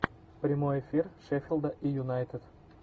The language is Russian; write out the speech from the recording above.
прямой эфир шеффилда и юнайтед